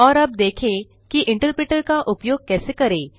और अब देखें कि इंटरप्रेटर का उपयोग कैसे करें